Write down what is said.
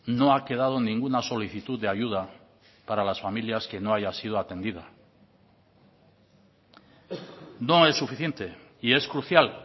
no ha quedado ninguna solicitud de ayuda para las familias que no haya sido atendida no es suficiente y es crucial